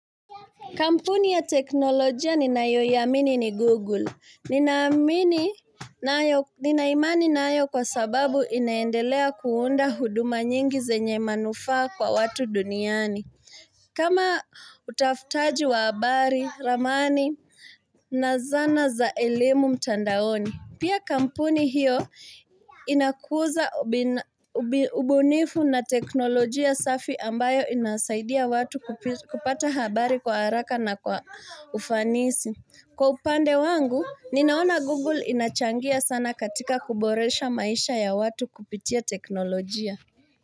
Kampuni ya teknolojia ninayoiamini ni Google. Nina imani nayo kwa sababu inaendelea kuunda huduma nyingi zenye manufaa kwa watu duniani. Kama utafutaji wa habari, ramani, na zana za elimu mtandaoni. Pia kampuni hiyo inakuza ubunifu na teknolojia safi ambayo inasaidia watu kupata habari kwa haraka na kwa ufanisi. Kwa upande wangu, ninaona Google inachangia sana katika kuboresha maisha ya watu kupitia teknolojia.